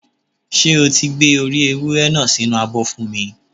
Ṣé o ti Gbé orí ewúré náà sí inú abọ́ fún mi?